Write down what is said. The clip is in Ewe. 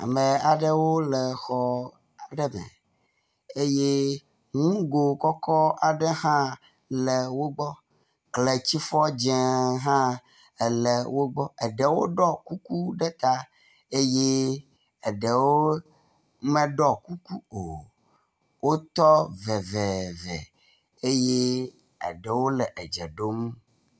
Ame aɖewo le exɔ aɖe me eye nugo kɔkɔ aɖe hã le wo gbɔ. Kletsifɔ dzẽ hã ele wo gbɔ. Aɖewo ɖɔ kuku ɖe ta eye aɖewo meɖɔ kuku o. Wotɔ veveeve eye aɖewo le dze ɖom.